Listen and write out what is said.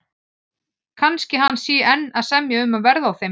Kannski hann sé enn að semja um verð á þeim.